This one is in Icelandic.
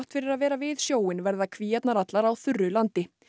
fyrir að vera við sjóinn verða kvíarnar allar á þurru landi